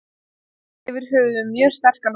Heilt yfir höfum við mjög sterkan hóp.